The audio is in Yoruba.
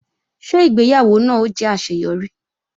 Ṣé ìgbéyàwó náà ó jẹ́ àṣeyọrí